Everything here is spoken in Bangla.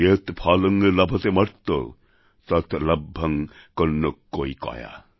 যৎ ফলং লভতেমর্ত্য তৎ লভ্যং কন্যক্কৈকয়া